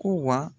Ko wa